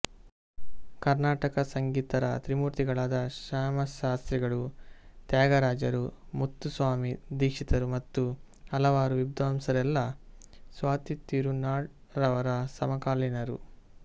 ಕರ್ನಾಟಕ ಸಂಗೀತರ ತ್ರಿಮೂರ್ತಿಗಳಾದ ಶ್ಯಾಮಶಾಸ್ತ್ರಿಗಳು ತ್ಯಾಗರಾಜರು ಮುತ್ತುಸ್ವಾಮಿ ದೀಕ್ಷಿತರು ಮತ್ತು ಹಲವಾರು ವಿದ್ವಾಂಸರೆಲ್ಲ ಸ್ವಾತಿತ್ತಿರುನಾಳ್ ಅವರ ಸಮಕಾಲೀನರು